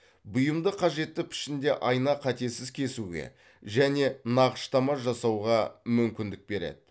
бұйымды қажетті пішінде айна қатесіз кесуге және нақыштама жасауға мүмкіндік береді